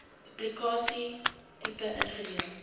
publikasie tipe ingedeel